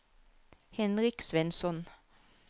Henrik Svensson